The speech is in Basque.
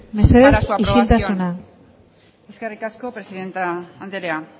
mesedez isiltasuna eskerrik asko presidente andrea